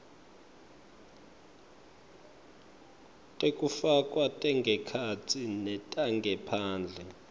tekufakwa tangekhatsi netangephandle